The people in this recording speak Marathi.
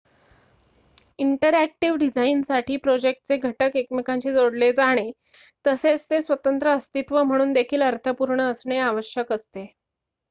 इंटरॅक्टिव्ह डिझाईनसाठी प्रोजेक्टचे घटक एकमेकांशी जोडले जाणे तसेच ते स्वतंत्र अस्तित्व म्हणून देखील अर्थपूर्ण असणे आवश्यक असते